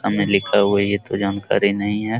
सामने लिखा हुआ है ये तो जानकारी नहीं है |